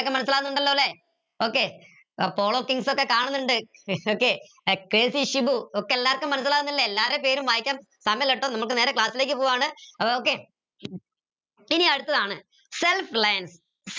മനസിലാവുന്നുണ്ടലൊ ല്ലെ okay follow things ഒക്കെ കാണുന്നിണ്ട് okay കെ സി ഷിബു ഒക്കെ എല്ലാർക്കും മനസിലാവുന്നില്ലേ എല്ലാരെ പേരും വായിക്കാൻ സമയില്ലാട്ടോ നമുക്ക് നേരെ class ലേക്ക് പോവാണ് അപ്പൊ okay ഇനി എടുത്തതാണ് self